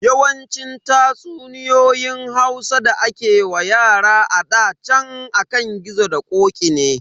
Yawancin tatsuniyoyin Hausa da ake wa yara a ɗa chan akan gizo da ƙoƙi ne.